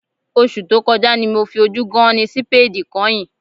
Oṣù tó kọjá ni mo fi ojú gán-án-ní sípéèdì kányìn